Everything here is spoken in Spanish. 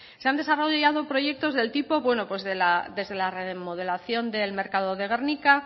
se han desarrollado proyectos del tipo desde le remodelación del mercado de gernika